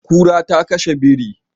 Kura ta kashe biri.